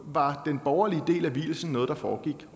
var den borgerlige del af vielsen noget der foregik